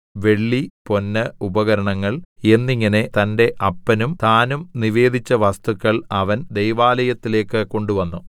വെള്ളി പൊന്ന് ഉപകരണങ്ങൾ എന്നിങ്ങനെ തന്റെ അപ്പനും താനും നിവേദിച്ച വസ്തുക്കൾ അവൻ ദൈവാലയത്തിലേക്ക് കൊണ്ടുവന്നു